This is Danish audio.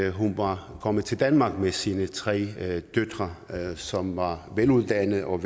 at hun var kommet til danmark med sine tre døtre som var veluddannede og